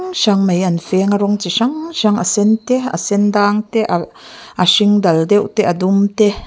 hrang mai an fêng a rawng chi hrang hrang a sen te a sen dâng te ah a hring dal deuh te a dum te.